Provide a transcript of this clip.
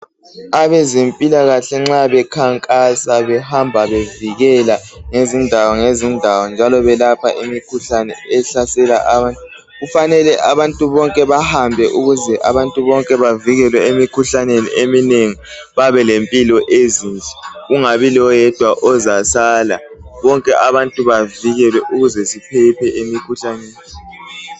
Abezempilakahle nxa bekhankasa behamba bevikela ngezindawo ngezindawo njalo belapha imikhuhlane ehlasela abantu kufanele abantu bonke bahambe ukuze abantu bonke bavikelwe emikhuhlaneni eminengi babelempilo ezinhle kungabi loyedwa ozasala bonke abantu bavikelwe ukuze baphephe emikhuhlaneni